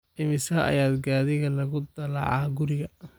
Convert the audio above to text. Immisa ayaa gaadhiga lagu dalacayaa guriga?